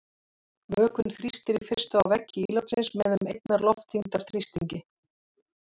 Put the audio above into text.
Vökvinn þrýstir í fyrstu á veggi ílátsins með um einnar loftþyngdar þrýstingi.